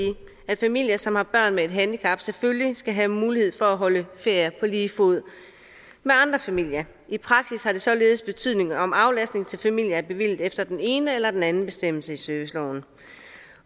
at familier som har børn med et handicap selvfølgelig skal have mulighed for at holde ferier på lige fod med andre familier i praksis har det således betydning om aflastning til familier er bevilget efter den ene eller den anden bestemmelse i serviceloven